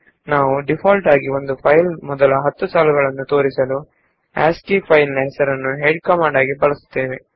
ನಾವು ಡೀಫಾಲ್ಟ್ ಆಗಿ ಫೈಲ್ ನ ಮೊದಲ 10 ಸಾಲುಗಳನ್ನು ತೋರಿಸಲು ಆಸ್ಕಿ ಫೈಲ್ ಹೆಸರನ್ನು ಹೊಂದಿರುವ ಹೆಡ್ ಕಮಾಂಡ್ ಅನ್ನು ಬಳಸುತ್ತೇವೆ